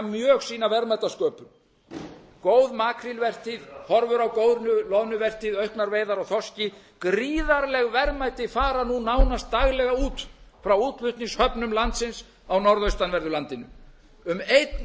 mjög sína verðmætasköpun góð makrílvertíð horfur á góðri loðnuvertíð auknar veiðar á þorski gríðarleg verðmæti fara nú nánast daglega út frá útflutningshöfnum landsins á norðaustanverðu landinu um einn